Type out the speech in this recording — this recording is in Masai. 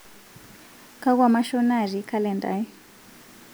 kakwa mashon natii kalenda aai